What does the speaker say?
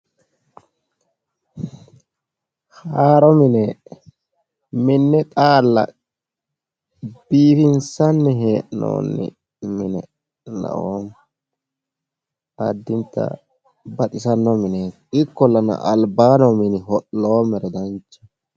Haaroo mine minne xalla biifinsanni he'noonni mine laoommo. Addinita baxxisano mineeti ikollana albaanni noo mine ho'loommero danchaho.